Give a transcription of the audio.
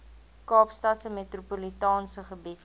kaapstadse metropolitaanse gebied